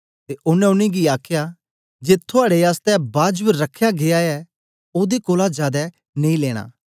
ते ओनें उनेंगी आखया जे थुआड़े आसतै बाजब रख्या गीया ऐ ओदे कोलां जादै नेई लेना